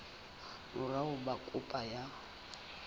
mora ho ba kopo ya